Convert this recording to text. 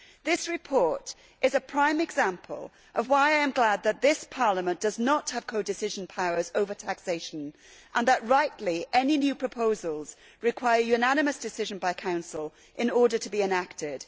This report is a prime example of why I am glad that this Parliament does not have codecision powers over taxation, and that rightly any new proposals require a unanimous decision by the Council in order to be enacted.